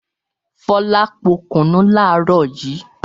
Fọlá po kùnú láàárọ̀ yìí.